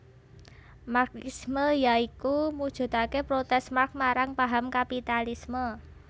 Marxisme ya iku mujudake protes Marx marang paham kapitalisme